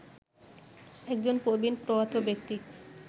একজন প্রবীণ প্রয়াত ব্যক্তি